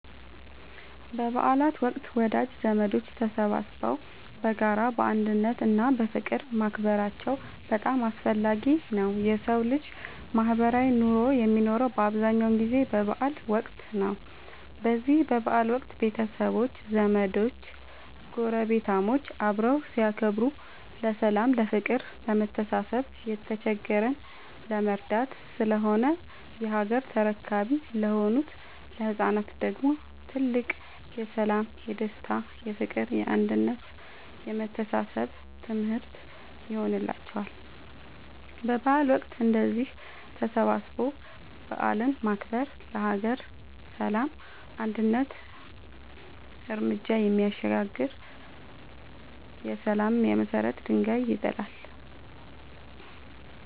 በበዓል ወቅት ወዳጅ ዘመዶች ተሰባስበው በጋራ፣ በአንድነት እና በፍቅር ማክበራቸው በጣም አስፈላጊ ነው የሠው ልጅ ማህበራዊ ኑሮ የሚኖረው በአብዛኛው ጊዜ በበዓል ወቅት ነው። በዚህ በበዓል ወቅት ቤተሰቦች፣ ዘመዶች ጐረቤታሞች አብረው ሲያከብሩ ለሠላም፤ ለፍቅር፣ ለመተሳሰብ፣ የተቸገረን ለመርዳት ስለሆነ የሀገር ተረካቢ ለሆኑት ለህፃናት ደግሞ ትልቅ የሠላም፣ የደስታ፣ የፍቅር፣ የአንድነት የመተሳሰብ ትምህርት ይሆንላቸዋል። በበዓል ወቅት እንደዚህ ተሰባስቦ በዓልን ማክበር ለሀገር ሰላም አንድ ርምጃ የሚያሻግር የሠላም የመሰረት ድንጋይ ይጥላል።